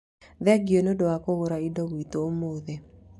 Thengio nĩ ũndũ wa kũgũra indo gwitũ ũmũthĩ